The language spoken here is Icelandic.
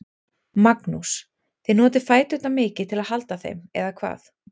Magnús: Þið notið fæturna mikið til að halda þeim, eða hvað?